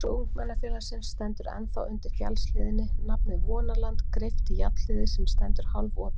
Hús ungmennafélagsins stendur ennþá undir fjallshlíðinni, nafnið Vonaland greypt í járnhliðið sem stendur hálfopið.